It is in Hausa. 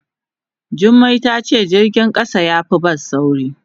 Jummai ta ce jirgin kasa ya fi bas sauri.